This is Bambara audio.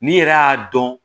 N'i yɛrɛ y'a dɔn